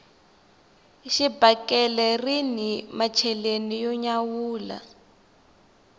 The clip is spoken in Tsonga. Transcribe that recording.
xibakele rini macheleni yo nyawula